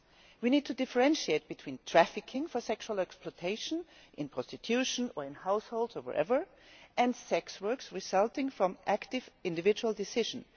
We need to differentiate between trafficking for sexual exploitation in prostitution or in households, or wherever and sex work resulting from active individual decisions.